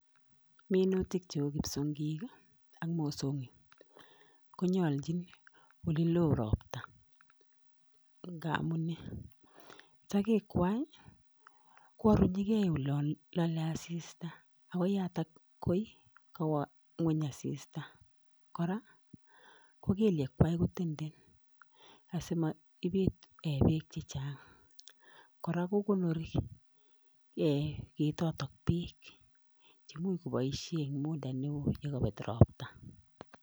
Minutik cheu kipsongik ii ak mosongik ko nyolchin olilo robta ngamun nee, sogek kwai Ii ko arunyike olon lole asista akoyatak ye kawo ngwony asista, kora ko kelyek kwak ko tenden asimoibit bek chechang, kora ko konori ee ketotok bek che imuch koboisien enn muda ne oo nekobet robta.